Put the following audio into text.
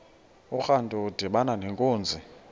urantu udibana nenkunzi